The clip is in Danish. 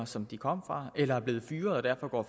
som de kom fra eller som er blevet fyret og